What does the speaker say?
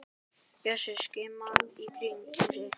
Bjössi skimar í kringum sig.